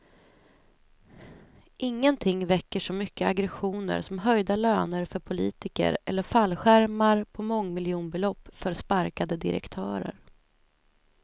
Ingenting väcker så mycket aggressioner som höjda löner för politiker eller fallskärmar på mångmiljonbelopp för sparkade direktörer.